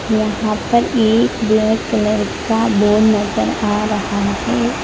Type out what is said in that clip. यहां पर एक ब्लैक कलर का बोर्ड नजर आ रहा है।